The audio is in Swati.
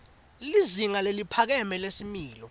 lizinga leliphakeme lesimilo